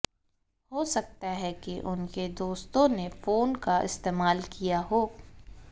हो सकता है कि उनके दोस्तों ने फोन का इस्तेमाल किया हो